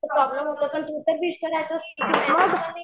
problem होतं पण तू तर विष करायचंस